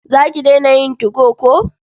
Za ki daina yin 2go ko?